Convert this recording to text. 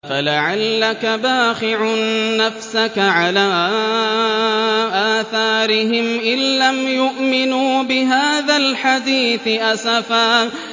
فَلَعَلَّكَ بَاخِعٌ نَّفْسَكَ عَلَىٰ آثَارِهِمْ إِن لَّمْ يُؤْمِنُوا بِهَٰذَا الْحَدِيثِ أَسَفًا